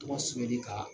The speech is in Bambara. Tɔgɔ sɛbɛnni kan